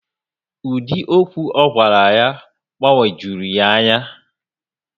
Ụdị okwu ogwara ya gbagwojurum ya ányá